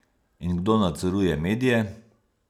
In kdo nadzoruje medije?